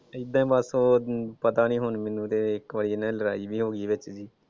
ਏਦਾਂ ਈ ਬਸ ਉਹ ਪਤਾ ਹੁਣ ਮੈਨੂੰ ਤੇ ਇੱਕ ਵਾਰੀ ਇਨ੍ਹਾਂ ਦੀ ਲੜਾਈ ਵੀ ਹੋ ਗਈ ਵਿਚ ਦੀ